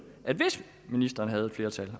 hvis ministeren havde et flertal